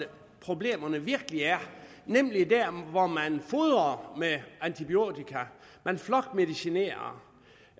problemerne virkelig er nemlig der hvor man fodrer med antibiotika flokmedicinerer